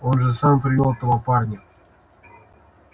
он же сам привёл этого парня